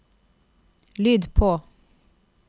lyd på